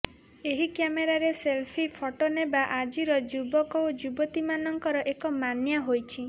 ଏହି କ୍ୟାମେରାରେ selfie photo ନେବା ଆଜିର ଯୁବକ ଓ ଯୁବତୀମାନଙ୍କର ଏକ ମାନିଆ ହୋଇଛି